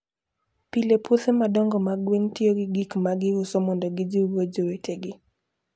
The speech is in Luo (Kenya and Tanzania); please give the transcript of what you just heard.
Pile, puothe madongo mag gwen tiyo gi gik ma giuso mondo gijiwgo jowetegi.